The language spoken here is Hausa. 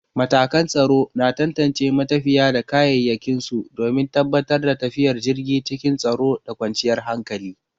Matakan tsaro na tantance matafiya da kayayyakin su domin tabbatar da tafiyar jirgi cikin tsaro da kwanciyar hankali.